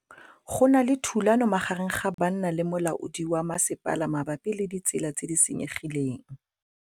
Go na le thulanô magareng ga banna le molaodi wa masepala mabapi le ditsela tse di senyegileng.